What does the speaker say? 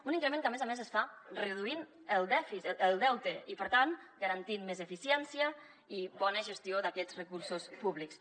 un increment que a més a més es fa reduint el deute i per tant garantint més eficiència i bona gestió d’aquests recursos públics